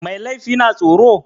Mai laifi na tsoro?